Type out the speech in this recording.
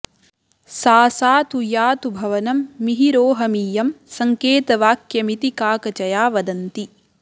सा सा तु यातु भवनं मिहिरोहमीयं सङ्केतवाक्यमिति काकचया वदन्ति